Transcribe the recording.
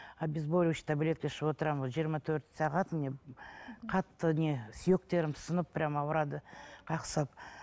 обезболивающий таблетка ішіп отырамын жиырма төрт сағат міне қатты не сүйектерім сынып прямо ауырады қақсап